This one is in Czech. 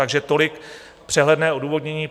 Takže tolik přehledné odůvodnění.